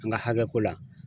N ka hakɛ ko la.